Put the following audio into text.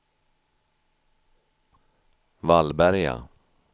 Vallberga